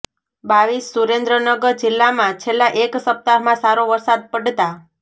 રર સુરેન્દ્રનગર જિલ્લામાં છેલ્લા એક સપ્તાહમાં સારો વરસાદ પડતાં